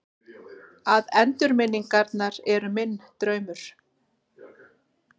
Að endurminningarnar eru minn draumur.